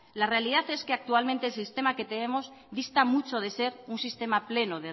la realidad es que actualmente el sistema que tenemos dista mucho de ser un sistema pleno